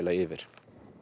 yfir